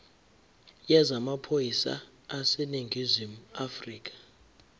yezamaphoyisa aseningizimu afrika